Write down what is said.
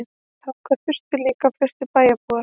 Þangað þustu líka flestir bæjarbúar.